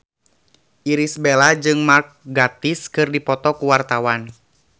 Irish Bella jeung Mark Gatiss keur dipoto ku wartawan